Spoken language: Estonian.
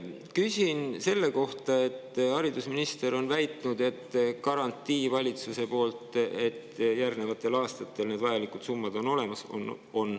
Küsin selle kohta, mida haridusminister on väitnud, et valitsuse poolt on antud garantii, et järgnevatel aastatel need vajalikud summad on olemas.